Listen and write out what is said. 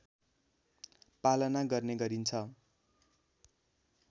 पालना गर्ने गरिन्छ